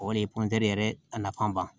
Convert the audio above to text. O de ye yɛrɛ a nafan ba ye